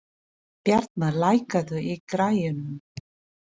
Bjarmar, lækkaðu í græjunum.